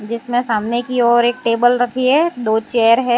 जिसमें सामने की ओर एक टेबल रखी है दो चेयर है।